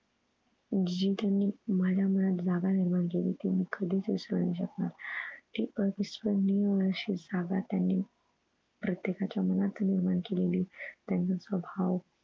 जी त्यांनी माझ्या मनात जागा निर्माण केली ती मी कधीच विसरू नाही शकणार. ती अविस्मरणीय अशी जागा त्यांनी प्रत्येकाचं मनात निर्माण केलेली त्यांचा स्वभाव